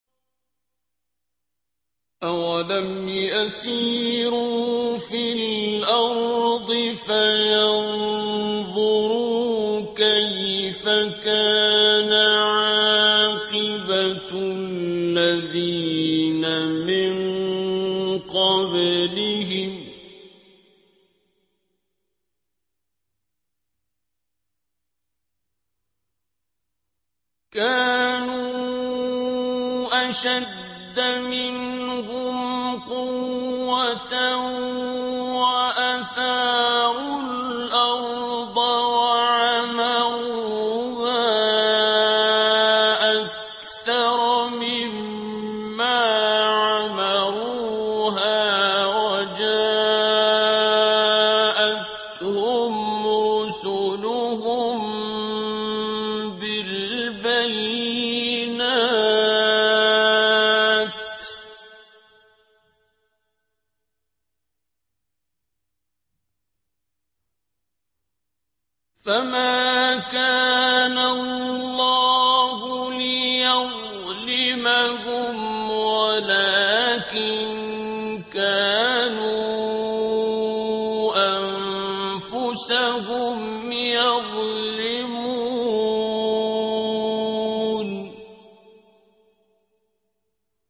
أَوَلَمْ يَسِيرُوا فِي الْأَرْضِ فَيَنظُرُوا كَيْفَ كَانَ عَاقِبَةُ الَّذِينَ مِن قَبْلِهِمْ ۚ كَانُوا أَشَدَّ مِنْهُمْ قُوَّةً وَأَثَارُوا الْأَرْضَ وَعَمَرُوهَا أَكْثَرَ مِمَّا عَمَرُوهَا وَجَاءَتْهُمْ رُسُلُهُم بِالْبَيِّنَاتِ ۖ فَمَا كَانَ اللَّهُ لِيَظْلِمَهُمْ وَلَٰكِن كَانُوا أَنفُسَهُمْ يَظْلِمُونَ